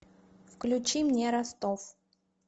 включи мне ростов